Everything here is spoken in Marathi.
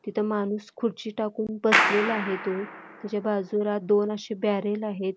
तिथं माणूस खुर्ची टाकून बसलेला आहे तो त्याच्या बाजूला दोन असे बॅरेल आहेत.